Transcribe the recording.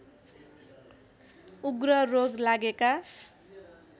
उग्र रोग लागेका